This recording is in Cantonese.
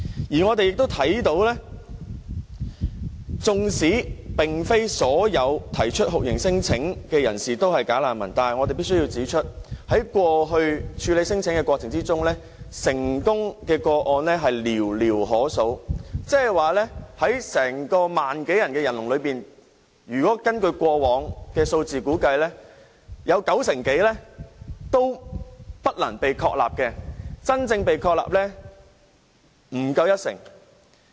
而我們亦看到，即使並非所有提出酷刑聲請的人士都是"假難民"，但我們必須指出，在過去處理聲請的過程中，成功個案是寥寥可數，即在1萬多宗申請中，根據過往的數字估計，有九成多都不能被確立，真正被確立為難民的人不足一成。